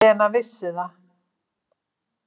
Lena vissi það.